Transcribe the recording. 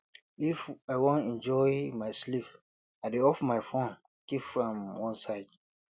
if i wan enjoy my sleep i dey off my my fone keep am one side